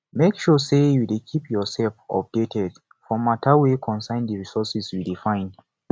make sure say you de keep yourself updated for matter wey concern di resources you de find